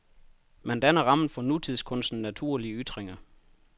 Man danner rammen for nutidskunstens naturlige ytringer.